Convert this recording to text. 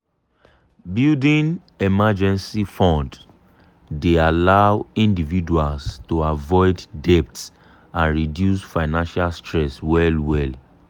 building emergency fund dey allow individuals to avoid debt and reduce financial stress well well.